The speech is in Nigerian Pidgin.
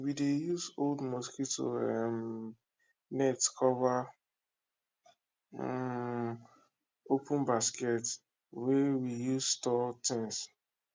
we dey use old mosquito um net cover um open basket wey we use store things